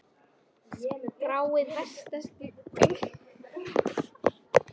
Skráið verkaskiptinguna niður þegar þið hafið bæði samþykkt hana.